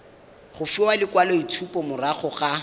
go fiwa lekwaloitshupo morago ga